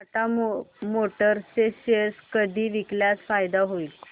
Tata Motors चे share कधी विकल्यास फायदा होईल